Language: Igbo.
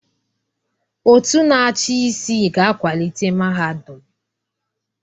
Òtù na-achị isi ga-akwalite mahadum.